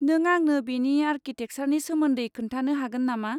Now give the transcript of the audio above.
नों आंनो बेनि आर्किटेकसारनि सोमोन्दै खोन्थानो हागोन नामा?